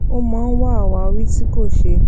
ó máa ń wá àwáwí tí kò ṣe